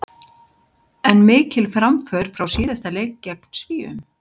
En mikil framför frá síðasta leik gegn Svíum.